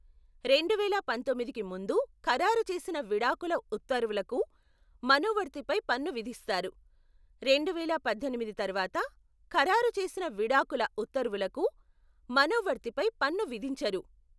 రెండువేల పంతొమ్మిదికి ముందు ఖరారు చేసిన విడాకుల ఉత్తర్వులకు మనోవర్తి పై పన్ను విధిస్తారు, రెండువేల పద్దెనిమిది తర్వాత ఖరారు చేసిన విడాకుల ఉత్తర్వులకు మనోవర్తిపై పన్ను విధించరు.